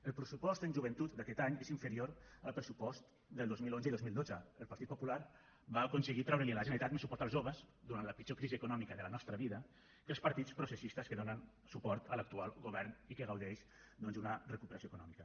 el pressupost en joventut aquest any és inferior al pressupost del dos mil onze i dos mil dotze el partit popular va aconseguir treure li a la generalitat un suport als joves durant la pitjor crisi econòmica de la nostra vida que els partits processistes que donen suport a l’actual govern i que gaudeix doncs d’una recuperació econòmica